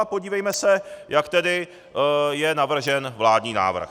A podívejme se, jak je tedy navržen vládní návrh.